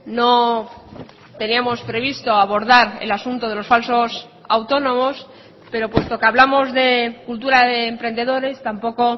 no teníamos previsto abordar el asunto de los falsos autónomos pero puesto que hablamos de cultura de emprendedores tampoco